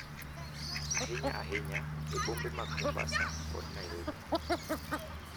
Ahinya ahinya e bombe mag Mombasa kod Nairobi,